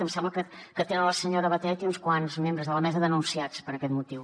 em sembla que tenen la senyora batet i uns quants membres de la mesa denunciats per aquest motiu